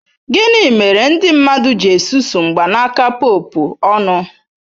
Gịnị mere ndị mmadụ ji susuo mgbanaka Pope ọnụ?